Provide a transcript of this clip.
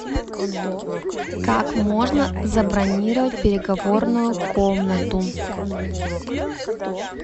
как можно забронировать переговорную комнату